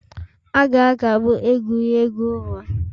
A ga-akagbu egwuregwu ụlọ.